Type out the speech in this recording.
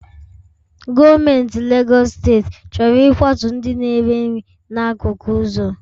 Gọọmentị Legọs steeti chọrọ ịkwatu ndị na-ere nri n'akụkụ ụzọ